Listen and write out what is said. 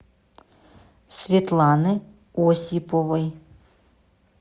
светланы осиповой